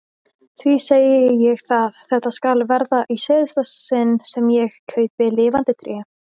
því segi ég það, þetta skal verða í síðasta sinn sem ég kaupi lifandi tré!